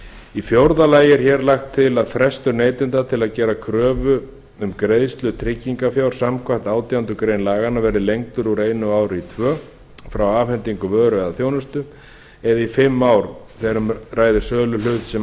í fjórða lagi er hér lagt til að frestur neytanda til að gera kröfu um greiðslu tryggingarfjár samkvæmt átjándu grein laganna verði lengdur úr einu ári í tvö ár frá afhendingu vöru eða þjónustu eða í fimm ár þegar um ræðir söluhlut sem